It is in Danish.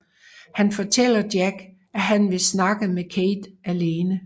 Han fortæller Jack at han vil snakke med Kate alene